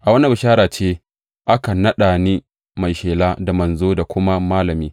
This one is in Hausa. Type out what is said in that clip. A wannan bishara ce, aka naɗa ni mai shela da manzo da kuma malami.